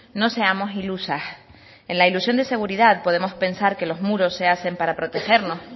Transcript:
no seamos ilusas en la ilusión de seguridad podemos pensar que los muros se hacen para protegernos